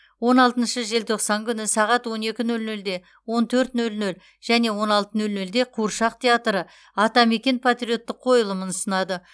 он алтыншы желтоқсан күні сағат он екі нөл нөлде он төрт нөл нөл және он алты нөл нөлде қуыршақ театры атамекен патриоттық қойылымын ұсынады